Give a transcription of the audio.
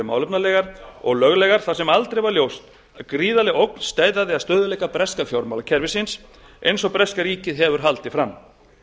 málefnalegar og löglegar þar sem aldrei var ljóst að gríðarleg ógn steðjaði að stöðugleika breska fjármálakerfisins eins og breska ríkið hefur haldið fram